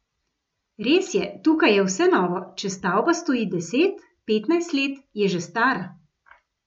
Res je, tukaj je vse novo, če stavba stoji deset, petnajst let, je že stara.